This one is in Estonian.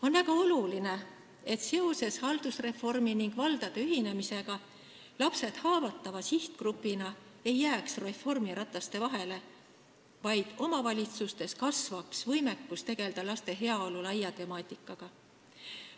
On väga oluline, et haldusreformi ja valdade ühinemise tõttu ei jääks lapsed haavatava sihtgrupina reformirataste vahele, vaid omavalitsustes kasvaks võimekus tegelda laste heaolu laia temaatikaga.